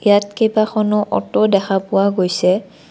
ইয়াত কেইবাখনো অ'টো দেখা পোৱা গৈছে।